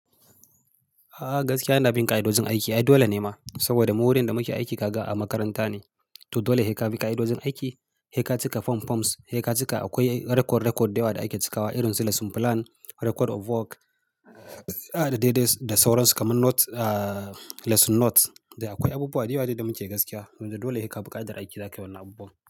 A gaskiya ina bin ƙa'idojin aiki. Ai dole ne ma, saboda mu wurin da muke aiki kaga a makaranta ne. To dole heka bi ƙa'idojin aiki, heka cika form forms, heka cika akwai record record da yawa da ake cikawa irin su lesson plan, record of work, da dai dai da sauransu kamar note, lesson note. Da akwai abubuwa da yawa dai da muke gaskiya. To dole heka bi ƙa'idar aiki zaka yi wannan abubuwa.